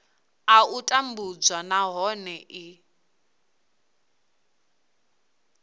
a u tambudzwa nahone i